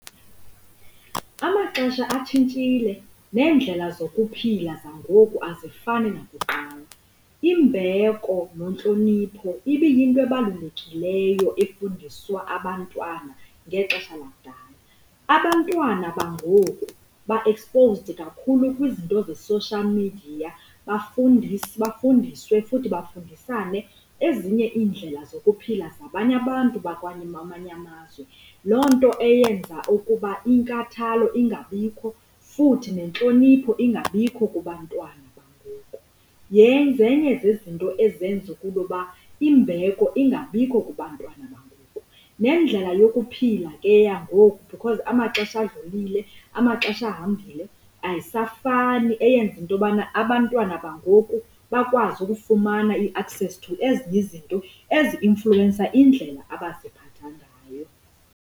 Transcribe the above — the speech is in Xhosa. Amaxesha atshintshile neendlela zokuphila zangoku azifani nakuqala. Imbeko nentlonipho ibiyinto ebalulekileyo efundisiwa abantwana ngexesha lakudala. Abantwana bangoku ba-exposed kakhulu kwizinto ze-social media, bafundiswe futhi bafundisane ezinye iindlela zokuphila zabanye abantu bakwamanye amazwe, loo nto eyenza ukuba inkathalo ingabikho futhi nentlonipho ingabikho kubantwana bangoku. Zenye zezinto ezenza into yokuba imbeko ingabikho kubantwana bangoku nendlela yokuphila ke yangoku because amaxesha adlulile, amaxesha ahambile, ayisafani eyenza into yobana abantwana bangoku bakwazi ukufumana i-access to ezinye izinto ezi-influwensa indlela abaziphatha ngayo.